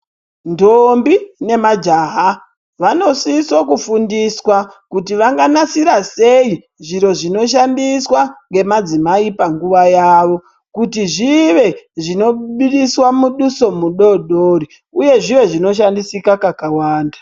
Ntombi nemajaha vanosiso kufundiswa kuti vanganasira sei zviro zvinoshandiswa ngemadzimai panguva yawo kuti zvive zvinobudisa muduso mudodori uye zvive zvinoshandisika kakawanda.